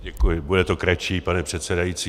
Děkuji, bude to kratší, pane předsedající.